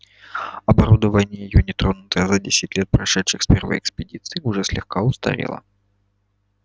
оборудование её не тронутое за десять лет прошедших с первой экспедиции уже слегка устарело